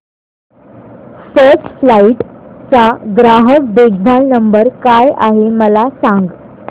first flight चा ग्राहक देखभाल नंबर काय आहे मला सांग